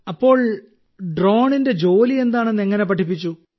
അപ്പോൾ ഡ്രോണിന്റെ ജോലി എന്താണെന്ന് എങ്ങനെ പഠിപ്പിച്ചു